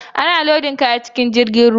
Ana lodin kaya a cikin jirgin ruwa.